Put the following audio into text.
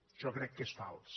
això crec que és fals